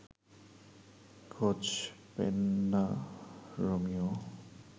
খোঁজ পেন না রোমিও